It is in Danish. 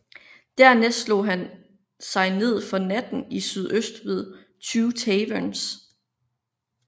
Dernæst slog han sig ned for natten i sydøst ved Two Taverns